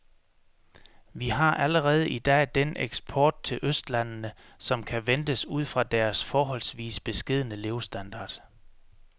Vi har allerede i dag den eksport til østlandene, som kan ventes ud fra deres forholdsvis beskedne levestandard.